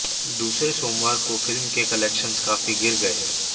दूसरे सोमावर को फ़िल्म के कलेक्शंस काफ़ी गिर गये